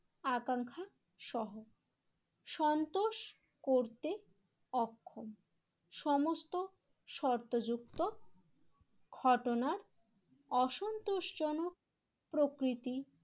আকাঙ্ক্ষা সহ সন্তোষ করতে অক্ষম। সমস্ত শর্ত যুক্ত ঘটনার অসন্তোষজনক প্রকৃতি